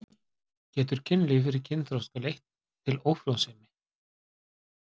Getur kynlíf fyrir kynþroska leitt til ófrjósemi?